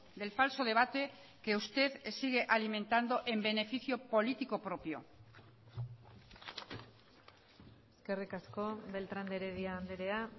del falso debate que usted sigue alimentando en beneficio político propio eskerrik asko beltrán de heredia andrea